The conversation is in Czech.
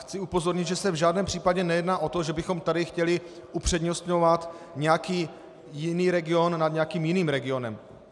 Chci upozornit, že se v žádném případě nejedná o to, že bychom tady chtěli upřednostňovat nějaký jiný region nad nějakým jiným regionem.